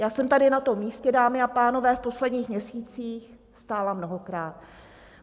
Já jsem tady na tom místě, dámy a pánové, v posledních měsících stála mnohokrát.